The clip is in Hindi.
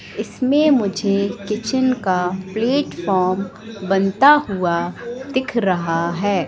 इसमें मुझे किचेन का प्लेटफॉर्म बनता हुआ दिख रहा है।